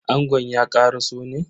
Angon ya karaso ne?